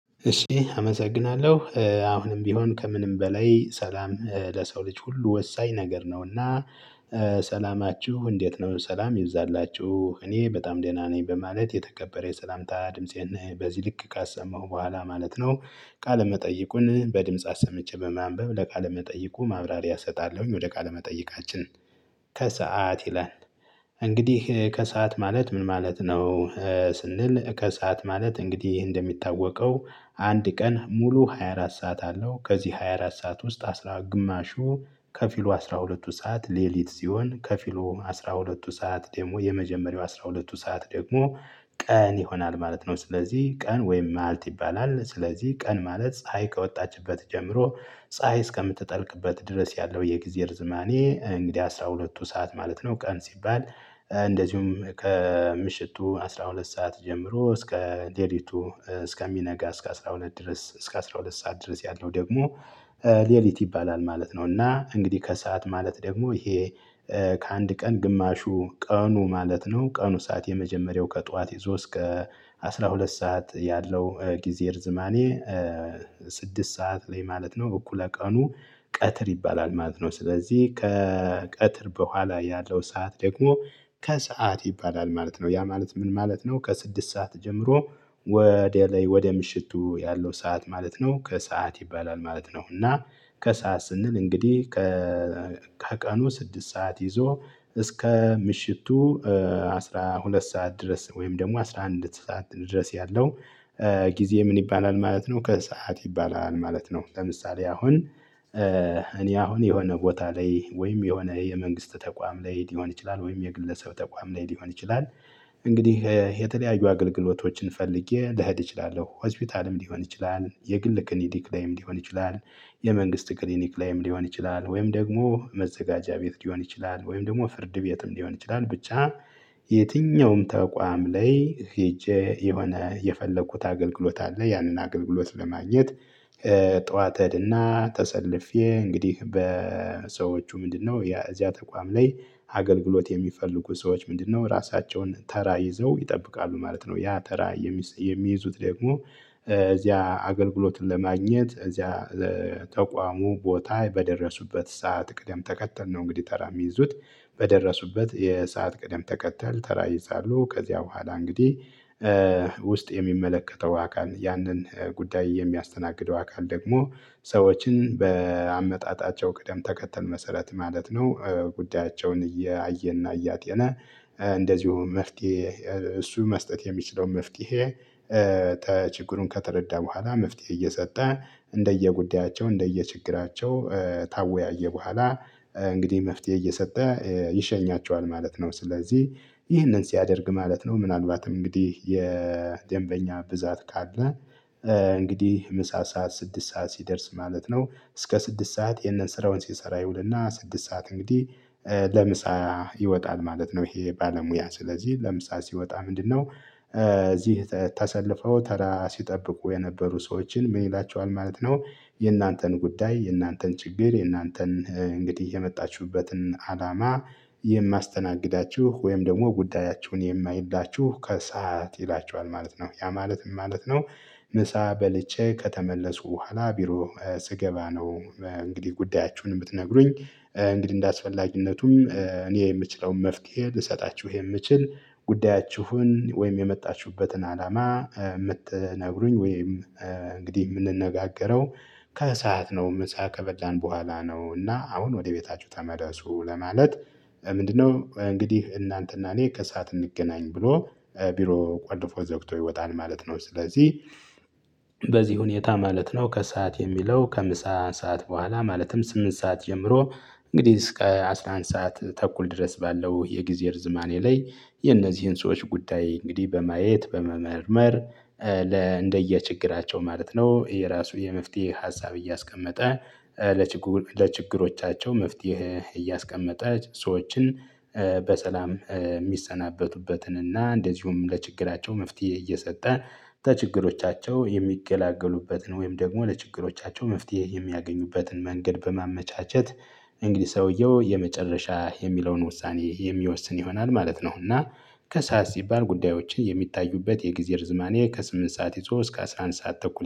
እሺ አመሰግናለሁ አሁንም ቢሆን ከምንም በላይ ሰላም ለሰው ልጅ ሁሉ ወሳኝ ነገር ነውና። ሰላማችሁ እንዴት ነው? ሰላም ይብዛላችሁ እኔ በጣም ደህና ነኝ በማለት የተከበረ የሰላምታ ድምፄን በዚህ ልክ ካሰማሁ በኋላ ማለት ነው። ቃለ መጠይቁን በድምጽ አሰምቼ በማንበብ ለቃለ መጠይቁ ማብራሪያ እሰጣለሁኝ። ወደ ቃለ መጠይቃችን ከሰአት ይላል። እንግዲህ ከሰአት ማለት ምን ማለት ነው? ስንል ከሰአት ማለት እንግዲህ እንደሚታወቀው አንድ ቀን ሙሉ ሃያ አራት ሰዓት አለው። ከዚህ ሃያ አራት ሰዓት ውስጥ አስራ ግማሹ ከፊሉ አስራ ሁለቱ ሰዓት ሌሊት ሲሆን ከፊሉ አስራ ሁለቱ ሰዓት ደግሞ የመጀመሪያው አስራ ሁለቱ ሰዓት ደግሞ ቀን ይሆናል ማለት ነው። ስለዚህ ቀን ወይም ማልት ይባላል። ስለዚህ ቀን ማለት ፀሀይ ከወጣችበት ጀምሮ ፀሀይ እስከምትጠልቅበት ድረስ ያለው የጊዜ ርዝማኔ እንግዲህ አንደ አስራ ሁለቱ ሰዓት ማለት ነው። ቀን ሲባል እንደዚሁም ከምሽቱ አስራ ሁለት ሰዓት ጀምሮ እስከ ሌሊቱ እስከሚነጋ እስከ አስራ ሁለት ድረስ እስከ አስራ ሁለት ሰዓት ድረስ ያልው ደግሞ ሌሊት ይባላል ማለት ነው። እና እንግዲህ ከሰአት ማለት ደግሞ ይሄ ከአንድ ቀን ግማሹ ቀኑ ማለት ነው። ቀኑ ሰዓት የመጀመሪያው ከጧት ይዞ እስከ አስራ ሁለት ሰዓት ያለው ጊዜ ርዝማኔ ስድስት ሰዓት ላይ ማለት ነው። እኩለ ቀኑ ቀትር ይባላል ማለት ነው። ስለዚህ ከቀትር በኋላ ያለው ሰዓት ደግሞ ከሰአት ይባላል ማለት ነው። ያ ማለት ምን ማለት ነው? ከስድስት ሰዓት ጀምሮ ወደ ላይ ወደ ምሽቱ ያለው ሰዓት ማለት ነው ከሰአት ይባላል ማለት ነው። እና ከሰአት ስንል እንግዲህ ከቀኑ ስድስት ሰዓት ይዞ እስከ ምሽቱ አስራ ሁለት ሰዓት ድረስ ወይም ደግሞ አስራ አንድ ሰዓት ድረስ ያለው ጊዜ ምን ይባላል ማለት ነው? ከሰአት ይባላል ማለት ነው። ለምሳሌ አሁን እኔ አሁን የሆነ ቦታ ላይ ወይም የሆነ የመንግስት ተቋም ላይ ሊሆን ይችላል ወይም የግለሰብ ተቋም ላይ ሊሆን ይችላል። እንግዲህ የተለያዩ አገልግሎቶችን ፈልጌ ልሄድ እችላለሁ። ሆስፒታልም ሊሆን ይችላል የግል ክሊኒክ ላይም ሊሆን ይችላል። የመንግስት ክሊኒክ ላይም ሊሆን ይችላል ወይም ደግሞ መዘጋጃ ቤት ሊሆን ይችላል ወይም ደግሞ ፍርድ ቤትም ሊሆን ይችላል። ብቻ የትኛውም ተቋም ላይ ሄጄ የሆነ የፈለኩት አገልግሎት አለ። ያንን አገልግሎት ለማግኘት። ጠዋት ሄድና ተሰልፌ እንግዲህ በሰዎቹ ምንድነው የዚያ ተቋም ላይ አገልግሎት የሚፈልጉ ሰዎች ምንድነው ራሳቸውን ተራ ይዘው ይጠብቃሉ ማለት ነው። ያ ተራ የሚይዙት ደግሞ እዚያ አገልግሎትን ለማግኘት እዚያ ለተቋሙ ቦታ በደረሱበት ሰዓት ቅደም ተከተል ነው እንግዲህ ተራ የሚይዙት። በደረሱበት የሰዓት ቅደም ተከተል ተራ ይይዛሉ። ከዚያ በኋላ እንግዲህ ውስጥ የሚመለከተው አካል ያንን ጉዳይ የሚያስተናግደው አካል ደግሞ ሰዎችን በአመጣጣቸው ቅደም ተከተል መሰረት ማለት ነው። ጉዳያቸውን እያየና እያጤነ። እንደዚሁም መፍትሄ እሱ መስጠት የሚችለው መፍትሄ። ችግሩን ከተረዳ በኋላ መፍትሄ እየሰጠ እንደየጉዳያቸው እንደየችግራቸው ታወያየ በኋላ እንግዲህ መፍትሄ እየሰጠ ይሸኛቸዋል ማለት ነው። ስለዚህ ይህንን ሲያደርግ ማለት ነው። ምናልባትም እንግዲህ የደንበኛ ብዛት ካለ። እንግዲህ ምሳ ሰዓት ስድስት ሰዓት ሲደርስ ማለት ነው። እስከ ስድስት ሰዓት ይህንን ስራውን ሲሰራ ይውልና ስድስት ሰዓት እንግዲህ ለምሳ ይወጣል ማለት ነው። ይሄ ባለሙያ ስለዚህ ለምሳሌ ሲወጣ ምንድነው? እዚህ ተሰልፈው ተራ ሲጠብቁ የነበሩ ሰዎችን ምን ይላቸዋል ማለት ነው? የእናንተን ጉዳይ የእናንተን ችግር የእናንተን እንግዲህ የመጣችሁበትን አላማ የማስተናግዳችሁ ወይም ደግሞ ጉዳያችሁን የማይላችሁ ከሰአት ይላቸዋል ማለት ነው። ያ ማለት ምን ማለት ነው? ምሳ በልቼ ከተመለስኩ በኋላ ቢሮ ስገባ ነው። እንግዲህ ጉዳያችሁን የምትነግሩኝ። እንግዲህ እንደአስፈላጊነቱም እኔ የምችለውን መፍትሄ ልሰጣችሁ የምችል ጉዳያችሁን ወይም የመጣችሁበትን አላማ የምትነግሩኝ ወይም እንግዲህ የምንነጋገረው። ከሰአት ነው ምሳ ከበላን በኋላ ነው። እና አሁን ወደ ቤታችሁ ተመለሱ ለማለት። ምንድነው? እንግዲህ እናንተና እኔ ከሰአት እንገናኝ ብሎ ቢሮ ቆልፎ ዘግቶ ይወጣል ማለት ነው። ስለዚህ በዚህ ሁኔታ ማለት ነው። ከሰአት የሚለው ከምሳ ሰዓት በኋላ ማለትም ስምንት ሰዓት ጀምሮ እንግዲህ እስከ አስራ አንድ ሰዓት ተኩል ድረስ ባለው የጊዜ እርዝማኔ ላይ። የነዚህን ሰዎች ጉዳይ እንግዲህ በማየት በመመርመር። ለ እንደየችግራቸው ማለት ነው። የራሱ የመፍትሄ ሀሳብ እያስቀመጠ ለችግሩ ለችግሮቻቸው መፍትሄ እያስቀመጠ ሰዎችን። በሰላም የሚሰናበቱበትን እና እንደዚሁም ለችግራቸው መፍትሄ እየሰጠ። ችግሮቻቸው የሚገላገሉበትን ወይም ደግሞ ለችግሮቻቸው መፍትሄ የሚያገኙበትን መንገድ በማመቻቸት። እንግዲህ ሰውየው የመጨረሻ የሚለውን ውሳኔ የሚወስን ይሆናል ማለት ነው። እና ከሰአት ሲባል ጉዳዮችን የሚታዩበት የጊዜ ርዝማኔ ከስምንት ሰዓት ይዞ እስከ አስራ አንድ ሰዓት ተኩል